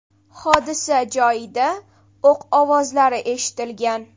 Hodisa joyida o‘q ovozlari eshitilgan.